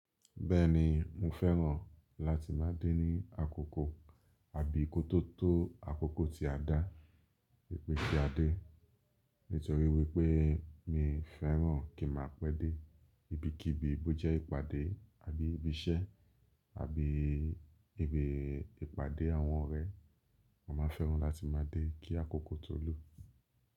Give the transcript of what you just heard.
Bẹ́ẹ̀ni, mo fẹ́ràn láti má a dé ní àkókò àbí ki o to tó àkókò tí a dá, wìpè tí a dé. Nítorí wípé mi fẹ́ràn kí ma pẹ́ dé, ibi kí ibi bó jẹ́ ìpàdé àbí ibi iṣẹ́ àbí ibi ìpàdé àwọn ọ̀rẹ́, mo màá fẹ́ràn láti má a dé kí àkókò tó lù.